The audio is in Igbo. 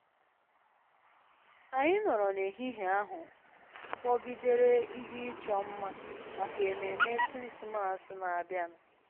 Anyị nọrọ n'ehihie ahụ kpọgidere ihe ịchọ mma maka ememe Krismas na-abịanụ